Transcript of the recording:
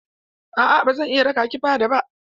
A'a ba zan iya raƙa ki fada ba.